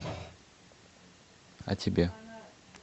а тебе